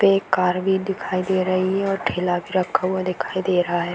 यहां पे एक कार भी दिखाई दे रही है और ठेला भी रखा हुआ दिखाई दे रहा है।